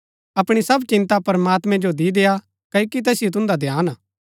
अपणी सब चिन्ता प्रमात्मैं जो दी देय्आ क्ओकि तैसिओ तुन्दा ध्यान हा